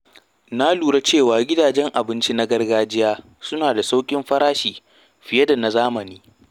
Na lura cewa gidajen abinci na gargajiya suna da sauƙin farashi fiye da na zamani.